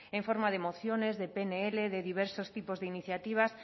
en forma de mociones de pnl de diversos tipos de iniciativas